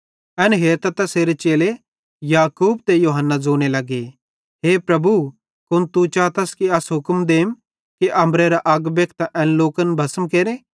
एन हेरतां तैसेरे चेले याकूब ते यूहन्ना ज़ोने लगे हे प्रभु कुन तू चातस कि अस हुक्म देम अम्बरेरां अग बखेनतां एन लोकन भस्म केरे